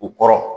U kɔrɔ